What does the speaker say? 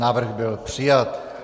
Návrh byl přijat.